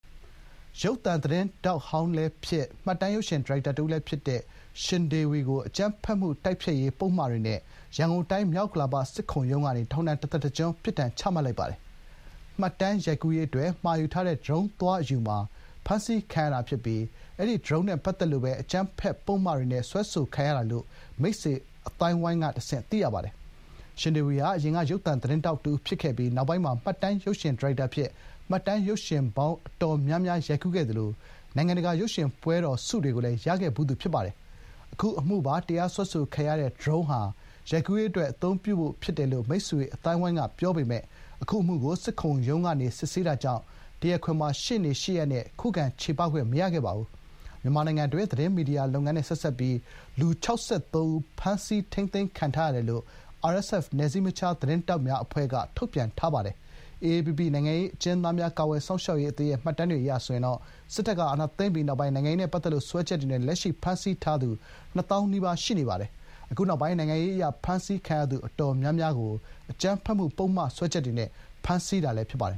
ရုပ်သံသတင်းထောက်ဟောင်းလည်းဖြစ် မှတ်တမ်းရုပ်ရှင်ဒါရိုက်တာတဦးလည်းဖြစ်သူ ရှင်ဒေဝီကို အကြမ်းဖက်မှု တိုက်ဖျက်ရေးပုဒ်မတွေနဲ့ ရန်ကုန်တိုင်း မြောက်ဥက္ကလာပ စစ်ခုံရုံးကနေ ထောင်ဒဏ်တသက်တကျွန်းပြစ်ဒဏ်ချမှတ်လိုက်ပါတယ်။ မှတ်တမ်းရိုက်ကူးရေးအတွက် မှာယူထားတဲ့ ဒရုန်းသွားအယူမှာ ဖမ်းဆီးခံရတာဖြစ်ပြီး၊ အဲဒီ ဒရုန်းနဲ့ပတ်သက်လို့ပဲ အကြမ်းဖက်ပုဒ်မတွေနဲ့ စွဲဆိုခံရတာလို့ မိတ်ဆွေအသိုင်းအဝိုင်းကတဆင့် သိရပါတယ်။ ရှင်ဒေဝီဟာ ယခင်က ရုပ်သံသတင်းထောက်တဦးဖြစ်ခဲ့ပြီး၊ နောက်ပိုင်းမှာ မှတ်တမ်းရုပ်ရှင်ဒါရိုက်တာအဖြစ် မှတ်တမ်းရုပ်ရှင်ပေါင်းအတော်များများ ရိုက်ကူးခဲ့သလို နိုင်ငံတကာရုပ်ရှင်ပွဲတော်ဆုတွေကိုလည်း ရရှိခဲ့ဖူးသူဖြစ်ပါတယ်။ အခုအမှုပါ တရားစွဲဆိုခံရတဲ့ ဒရုန်းဟာ ရိုက်ကူးရေးအတွက် အသုံးပြုဖို့ ဖြစ်တယ်လို့ မိတ်ဆွေအသိုင်းအဝိုင်းကပြောပေမယ့် အခု အမှုကို စစ်ခုံရုံးကနေ စစ်ဆေးတာကြောင့် တရားခွင်မှာ ရှေနေ ရှေ့ရပ်နဲ့ ခုခံချေပခွင့်မရခဲ့ပါဘူး။ မြန်မာနိုင်ငံတွင်း သတင်းမီဒီယာလုပ်ငန်းနဲ့ဆက်စပ်ပြီး လူ ၆၃ ဦိး ဖမ်းဆီးထိမ်းသိမ်းခံရထားတယ်လို့ RSF နယ်စည်းမခြားသတင်းထောက်များအဖွဲ့က ထုတ်ပြန်ထားပါတယ်။ AAPP နိုင်ငံရေးအကျဉ်းသားများကာကွယ်စောင့်ရှောက်ရေးအသင်းအရ စစ်တပ်ကအာဏာသိမ်းပြီးနောက် နိုင်ငံရေးနဲ့ပတ်သက်လို့ စွဲချက်တွေနဲ့ လက်ရှိ ဖမ်းဆီးထားသူ နှစ်သောင်းနီးပါး ရှိနေပါတယ်။ အခုနောက်ပိုင်း နိုင်ငံရေးအရဖမ်းဆီးခံရသူအတော်များများကို အကြမ်းဖက်မှုပုဒ်မစွဲချက်တွေနဲ့ ဖမ်းဆီးထားတာဖြစ်ပါတယ်